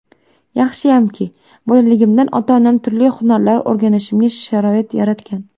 Yaxshiyamki, bolaligimdan ota-onam turli hunarlar o‘rganishimga sharoit yaratgan.